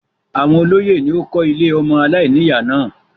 Àwọn olóyè ni ó kó ilé ọmọ aláìníyà náà.